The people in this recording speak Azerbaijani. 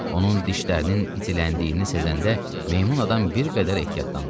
Onun dişlərinin itiləndiyini sezəndə meymun adam bir qədər ehtiyatlandı.